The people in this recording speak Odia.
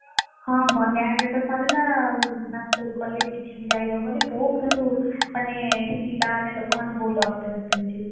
ହଁ ବନ୍ୟା ହେଲେ ତ ସରିଲା ଆଉ ନା school college କିଛି ବି ଯାଇ ହବନି ବହୁତ୍ କିନ୍ତୁ ମାନେ, ପିଲାମାନେ ଲୋକମାନେ ବହୁତ୍ ଅସ୍ତବ୍ୟସ୍ତ ହେଇଯିବେ।